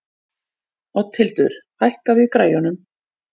Oddhildur, hækkaðu í græjunum.